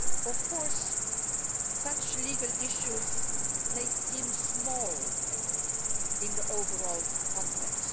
Of course such legal issues may seem small in the overall context.